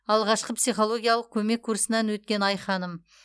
алғашқы психологиялық көмек курсынан өткен айханым